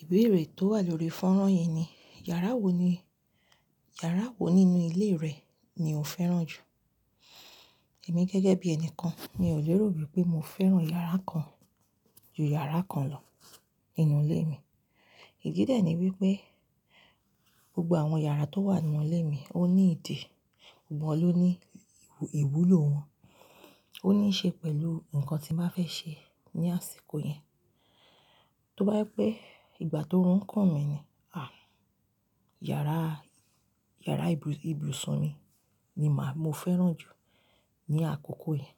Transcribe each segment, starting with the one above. Ìbéèrè tó wà lórí fọ́nrán yìí ni, yàrá wo nínú ilé rẹ ni o fẹ́ràn jù? Èmi gẹ́gẹ́ bí ẹni kan, mi ò lérò wípé mo fẹ́ràn yàrá kan ju yàrá kan lọ nínú ilé mi. Ìdí dẹ ní wípé, gbogbo àwọn yàrá tó wà nínú ilé mi ó ní ìdí, gbogbo wọn ló ní ìwúlò wọn. Ó ní í ṣe pẹ̀lú nǹkan tí mo bá fẹ́ ṣe ní àsìkò yẹn. Tó bá je pé ìgbà t'oórun ń kun mi ni, à, yara yàrá ìbùsùn mi ni mo fẹ́ràn jù ní àkókò yẹn.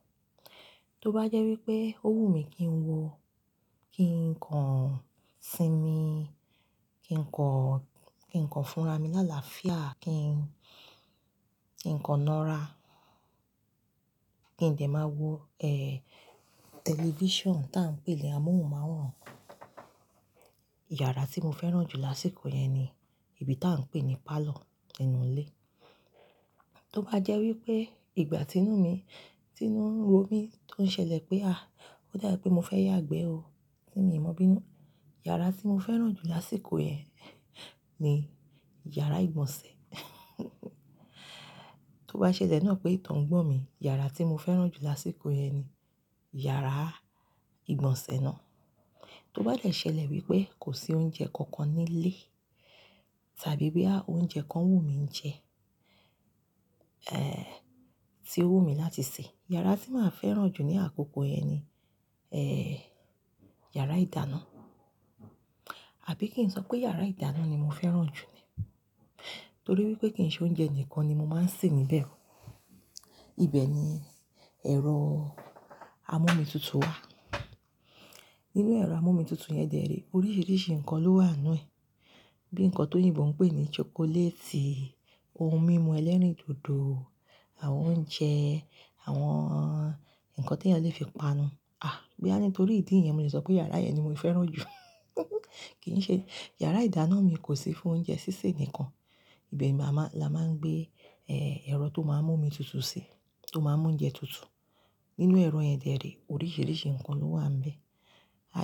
Tó bá jẹ́ wípé ó wù mí kí n wo, kí n kàn sinmi, ki n kan kí n kàn fúnra mi làláafíà, kí n kàn ń nara, kí ǹ dẹ́ máa wo, ẹ́, tẹlifíṣàn tí à ń pè ní amóhùnmáwòrán, yàrá tí mo fẹ́ràn jù lásìkò yẹn ni ibi tí à ń pè ní parlour nínú ilé. Tó bá jẹ́ wípé ìgbà tí inú mi ń ro mí tó ń ṣẹlẹ̀ pé, à, ó dà bii pé mo fẹ́ yàgbẹ́ o tí mi o mọ̀ bí inú, yàrá tí mo fẹ́ràn jù lásìkò yẹn ni yàrá ìgbọ̀nsẹ̀. Tó bá ṣẹlẹ̀ náà pé ìto ń gbọ̀n mí, yàrá tí mo fẹ́ràn jù lásìkò yẹn ni yàrá ìgbọ̀nsẹ̀ náà. Tó bá dẹ̀ ṣẹlẹ̀ wípé kò sí oúnjẹ kankan nílé tàbí pé à, oúnjẹ kan wù míi jẹ, ẹ́, tí ó wù mí láti sè, yàrá tí màá fẹ́ràn jù ní àkókò yẹn ni, ẹ́, yàrá ìdáná. Àbí kí n sọ pé yàrá ìdáná ni mo fẹ́ràn jù ni? Nítorí wípé kì n ṣe oúnjẹ ǹikan ni mo máa ń sè níbẹ̀. Ibẹ̀ ni ẹ̀rọ amómi tutù wà. Nínú ẹ̀rọ amómi tutù yẹn dẹ̀ ree, oríṣiríṣi ǹkan ló wà nínú ẹ. Bíi nǹkan t'oyinbo n pé ní chocolate, ohun mímu ẹlẹ́rìndòdò, àwọn oúnjẹ, àwọn ǹkan tí ẹeyàn lè fi panu. À, boya nitorí ìdí yẹn mo lè sọ pé yàrá yẹn ni mo fẹ́ràn jù. Kì n ṣe yàrá ìdáná mi kò sí fún oúnjẹ sísè nìkan. Ibẹ̀ ni a máa ń gbé, ẹ́, ẹ̀rọ tó máa ń mú omi tutù sí, tó máa ń mú oúnjẹ tutù. Nínú ẹ̀rọ yẹn dè ree, oríṣiríṣi nǹkan ló wà ńbẹ̀.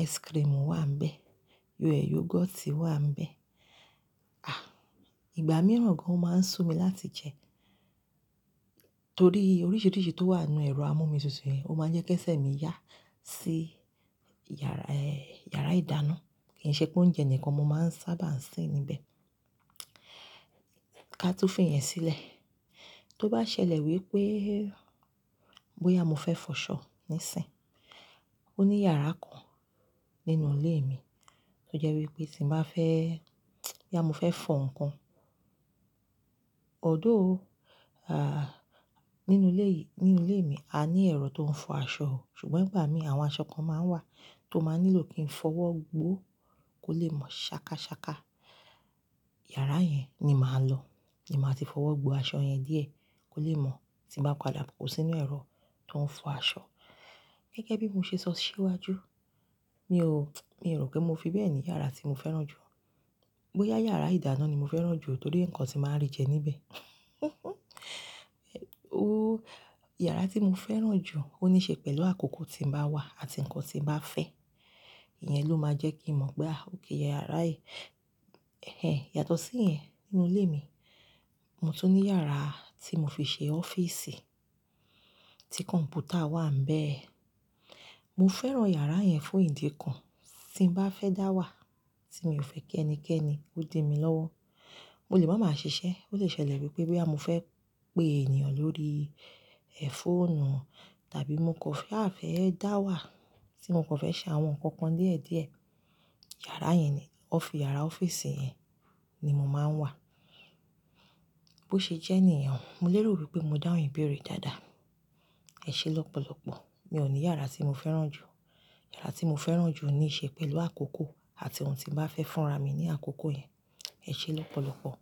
Ice cream wà ńbẹ̀, yoghurt wà ńbẹ̀. À, ìgbà mìíràn gan, o máa ń sú mi láti jẹ. Nítorí oríṣiríṣi tó wà nínú ẹ̀rọ amómi tutù yẹn, ó máa ń jẹ́ kí ẹsẹ̀ mi yá sí yàrá ìdáná. Kì ń ṣe pé oúnjẹ nìkan mo máa ń sábà ń sè níbẹ̀. Ká tún fi ìyẹn sílẹ̀. Tó bá ṣẹlẹ̀ wípé bóyá mo fẹ́ fọ́ṣọ́ níìsín, ó ní yàrá kan nínú ilé mi tó jẹ́ wípé tí mo bá fẹ́, boya mo fẹ́ fọ̀ nǹkan, although, a nínú ilé mi a ní ẹ̀rọ tó ń fọ aṣọ, ṣùgbọ́n ìgbà mìíràn àwọn aṣọ kan máa ń wà tó máa nílò kí n fọwọ́ gbó kó lè mọ̀ ṣàkàṣàkà. Yàrá yẹn ni màá lọ, ní màá ti fọwọ́ gbó aṣọ yẹn díẹ̀ kó lè mọ̀ tí mo bá padà kò sí inú ẹ̀rọ tó ń fọ aṣọ. Gẹ́gẹ́ bí mo ṣe sọ ọ́ ṣíwájú, mi ò rò pé mo fi bẹ́ẹ̀ ní yàrá tí mo fẹ́ràn jù. Bóyá yàrá ìdáná ni mo fẹ́ràn jù nítorí nǹkan tí màá rí jẹ níbẹ̀. Yàrá tí mo fẹ́ràn jù ó ní í ṣe pẹ̀lú àkókò tí ń bá wà àti nǹkan tí ń bá fẹ́. Ìyẹn ló máa jẹ́ kí n mọ̀ pé, à, okay, yàrá yìí, ẹ́, yàtọ̀ sí ìyẹn nínú ilé mi. Mo tún ní yàrá tí mo fi ṣe ọ́fíìsì, tí kọ̀m̀pútà wà ńbẹ̀. Mo fẹ́ràn yàrá yẹn fún ìdí kan, tí mo bá fẹ́ dá wà tí mi ò fẹ́ kí ẹnikẹ́ni ó di mí lọ́wọ́, mo lè ma màá ṣiṣẹ́. Ó lè ṣẹlẹ̀ wípé boya mo fẹ́ pé èeyàn lórí ẹ̀, fóònù tàbí mo kan sa fẹ́ dá wà tí mo kan fẹ́ ṣe àwọn ǹkan kan díẹ̀ díẹ̀, yàrá yẹn ni, ọ́fíìsì yẹn ni mo máa ń wà. Bó ṣe jẹ́ niyen oo, mo lérò wípé mo dáhun ìbéèrè yii dáadáa. Ẹ ṣé lọ́pọ̀lọ́pọ̀, mi ò ní yàrá tí mo fẹ́ràn jù. Yàrá tí mo fẹ́ràn jù ní í ṣe pẹ̀lú àkókò àti ohun tí mo bá fẹ́ fúnra mi ní àkókò yẹn. Ẹ ṣé lọ́pọ̀lọ́pọ̀.